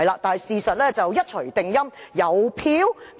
但是，事實是一錘定音，有票嗎？